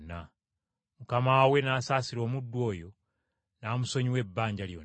“Mukama we n’asaasira omuddu oyo n’amusonyiwa ebbanja lyonna!